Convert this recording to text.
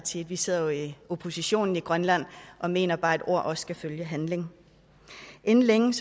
side vi sidder jo i opposition i grønland og mener bare at ord også skal følge handling inden længe